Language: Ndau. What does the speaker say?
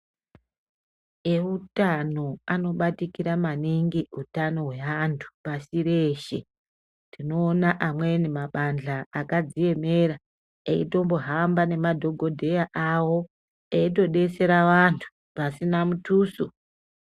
Eutano anobatikira maningi utano hweantu pasi reshe. Tinoona amweni mabanhla akadziemera eitombohamba ngemadhogodheya awo eitodetsera vantu pasina mutuso.